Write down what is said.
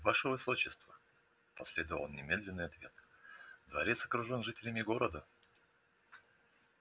ваше высочество последовал немедленный ответ дворец окружен жителями города